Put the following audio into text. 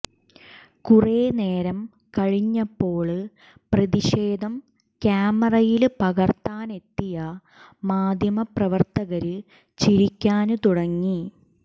കുറേ നേരം കഴിഞ്ഞപ്പോള് പ്രതിഷേധം ക്യാമറയില് പകര്ത്താനെത്തിയ മാധ്യമപ്രവര്ത്തകര് ചിരിക്കാന് തുടങ്ങി